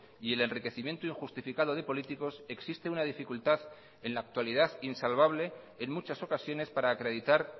y el enriquecimiento injustificado de políticos existe una dificultad en la actualidad insalvable en muchas ocasiones para acreditar